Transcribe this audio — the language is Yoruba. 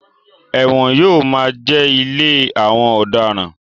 Ẹ̀wọ̀n yóò máa jẹ́ ilé àwọn ọ̀daràn.